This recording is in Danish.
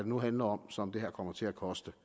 nu handler om som det her kommer til at koste